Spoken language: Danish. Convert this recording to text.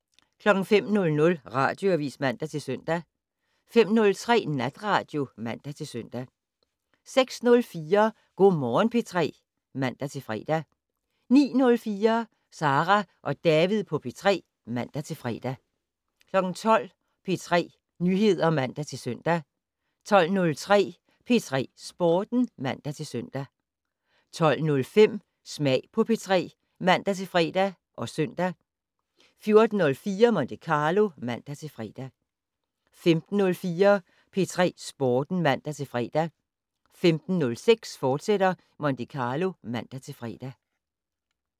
05:00: Radioavis (man-søn) 05:03: Natradio (man-søn) 06:04: Go' Morgen P3 (man-fre) 09:04: Sara og David på P3 (man-fre) 12:00: P3 Nyheder (man-søn) 12:03: P3 Sporten (man-søn) 12:05: Smag på P3 (man-fre og søn) 14:04: Monte Carlo (man-fre) 15:04: P3 Sporten (man-fre) 15:06: Monte Carlo, fortsat (man-fre)